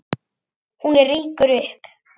Hún rýkur upp.